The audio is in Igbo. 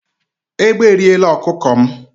Ègbé e riẹ̀la ọkụkọ m